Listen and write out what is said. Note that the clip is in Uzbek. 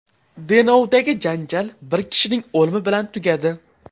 Denovdagi janjal bir kishining o‘limi bilan tugadi.